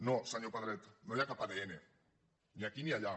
no senyor pedret no hi ha cap adn ni aquí ni allà